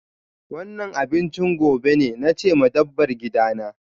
Wannan abinchin gobe ne, na ce ma dabbar gidana.